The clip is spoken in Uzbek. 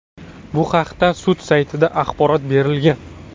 Bu haqda sud saytida axborot berilgan .